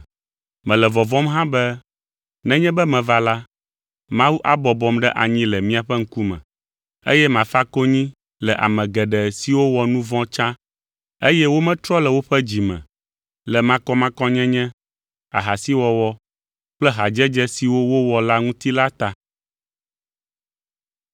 Mele vɔvɔ̃m hã be nenye be meva la, Mawu abɔbɔm ɖe anyi le miaƒe ŋkume, eye mafa konyi le ame geɖe siwo wɔ nu vɔ̃ tsã, eye wometrɔ le woƒe dzi me le makɔmakɔnyenye, ahasiwɔwɔ kple hadzedze siwo wowɔ la ŋuti la ta.